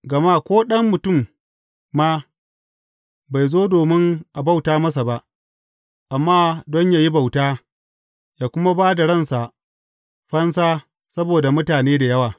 Gama ko Ɗan Mutum ma, bai zo domin a bauta masa ba, amma don yă yi bauta, yă kuma ba da ransa fansa saboda mutane da yawa.